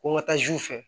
Ko n ka taa zuw fɛ